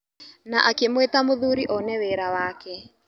Na akĩmwĩta mũthuri one wĩra wake.